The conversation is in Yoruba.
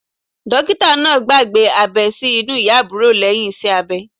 Dókítà náà gbàgbé abẹ́ sí inú ìyá àbúrò lẹ́yìn iṣẹ́ abẹ.